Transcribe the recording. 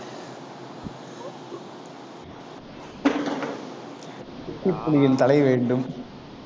தலை வேண்டும்.